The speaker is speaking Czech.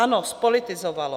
Ano, zpolitizovalo.